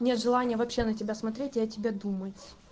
нет желания вообще на тебя смотреть и о тебе думать